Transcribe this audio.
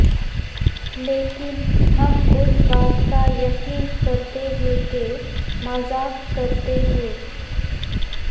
لیکن ہم اس بات کا یقین کرتے ہیں کہ مذاق کرتے ہیں